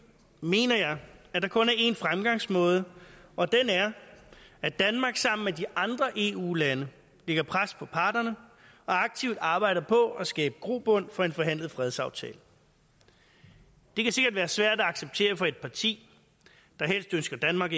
mener jeg der kun er én fremgangsmåde og den er at danmark sammen med de andre eu lande lægger pres på parterne og aktivt arbejder på at skabe grobund for en forhandlet fredsaftale det kan sikkert være svært at acceptere for et parti der helst ønsker danmark